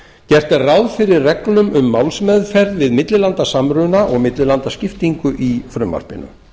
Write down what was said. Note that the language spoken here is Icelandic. gert er ráð fyrir reglum um málsmeðferð við millilandasamruna og millilandaskiptingu í frumvarpinu